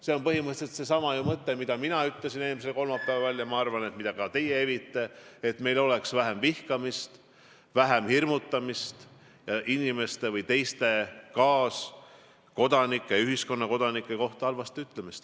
See on põhimõtteliselt ju seesama mõte, mida ütlesin mina eelmisel kolmapäeval, ja ma arvan, et ka teie evite seda arvamust, et meil oleks vähem vihkamist, hirmutamist ja inimeste või kaaskodanike kohta halvasti ütlemist.